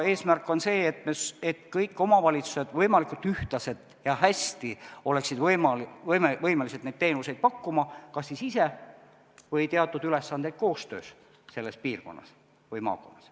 Eesmärk on see, et kõik omavalitsused võimalikult ühtlaselt ja hästi oleksid võimelised neid teenuseid pakkuma kas ise või täites teatud ülesandeid koostöös selles piirkonnas või maakonnas.